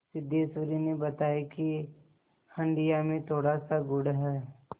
सिद्धेश्वरी ने बताया कि हंडिया में थोड़ासा गुड़ है